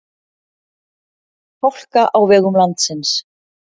Hálka á vegum landsins